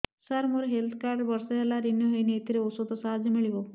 ସାର ମୋର health card ବର୍ଷେ ହେଲା ରିନିଓ ହେଇନି ଏଥିରେ ଔଷଧ ସାହାଯ୍ୟ ମିଳିବ